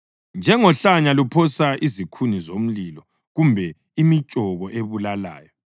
Njengohlanya luphosa izikhuni zomlilo kumbe imitshoko ebulalayo,